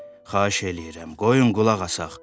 Xahiş eləyirəm, qoyun qulaq asaq.